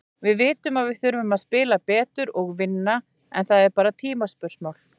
Við vitum að við þurfum að spila betur og vinna, en það er bara tímaspursmál.